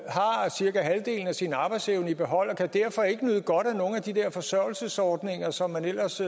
cirka halvdelen af sin arbejdsevne i behold og kan derfor ikke nyde godt af nogle af de der forsørgelsesordninger som man ellers